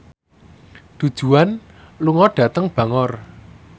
Du Juan lunga dhateng Bangor